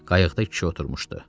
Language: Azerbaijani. Qayıqda kişi oturmuşdu.